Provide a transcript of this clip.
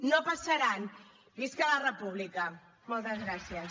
no passaran visca la república moltes gràcies